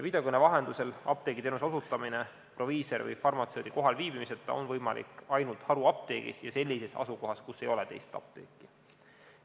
Videokõne vahendusel apteegiteenuse osutamine proviisori või farmatseudi kohalviibimiseta on võimalik ainult haruapteegis ja sellises asukohas, kus ei ole teist apteeki.